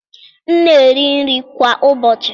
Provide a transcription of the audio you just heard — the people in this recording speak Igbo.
M na-eri nri kwa ụbọchị.